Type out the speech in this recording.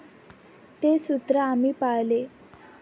ते सूत्र आम्ही पाळले.